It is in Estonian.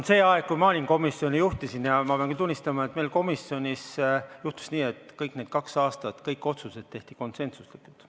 Sellel ajal, kui mina komisjoni juhtisin, ma pean küll tunnistama, meil komisjonis juhtus nii, et kõik need kaks aastat kõik otsused tehti konsensuslikult.